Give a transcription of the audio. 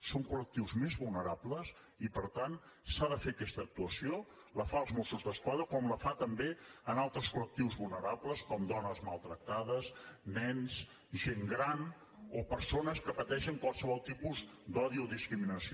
són col·lectius més vulnerables i per tant s’ha de fer aquesta actuació la fa els mossos d’esquadra com la fa també amb altres col·lectius vulnerables com dones maltractades nens gent gran o persones que pateixen qualsevol tipus d’odi o discriminació